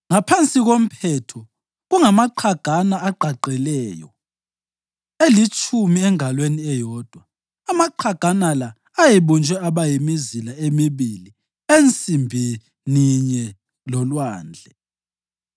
Ngaphansi komphetho, kungamaqhagana agqagqeleyo, elitshumi engalweni eyodwa. Amaqhagana la ayebunjwe aba yimizila emibili ensimbininye loLwandle.